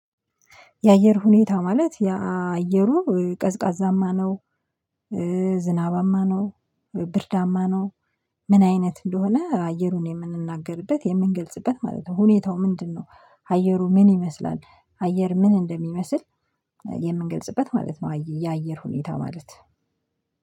የአየር ሁኔታ ማለት የአየሩ ቀዝቃዛማ ነው። ዝናባማ ነው። ብርዳማ ነው። ምን አይነት እንደሆነ አየሩን የምንናገርበት የምንገልጽበት ማለት ነው። ሁኔታው ምንድነው? አየሩ ምን ይመስላል? አየር ምን እንደሚመስል የምንገልጽበት ማለት ነው። የአየር ሁኔታ ማለት